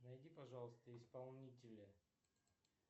найди пожалуйста исполнителя